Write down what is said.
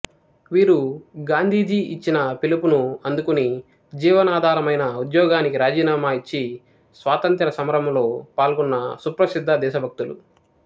వీరు గాంధీజీ ఇచ్చిన పిలుపును అందుకుని జీవనాధారమైన ఉద్యోగానికి రాజీనామా ఇచ్చి స్వాతంత్ర్య సమరంలో పాల్గొన్న సుప్రసిద్ధ దేశభక్తులు